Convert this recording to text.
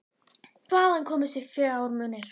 Hvaðan komu þessir fjármunir?